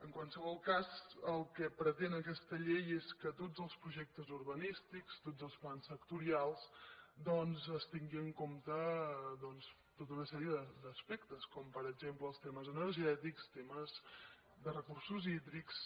en qualsevol cas el que pretén aquesta llei és que en tots els projectes urbanístics en tots els plans sectorials es tingui en compte tota una sèrie d’aspectes com per exemple els temes energètics temes de recursos hídrics